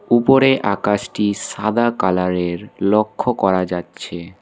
উপরে আকাশটি সাদা কালারের লক্ষ করা যাচ্ছে।